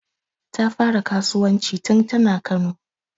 Ta fara kasuwanci tun tana Kano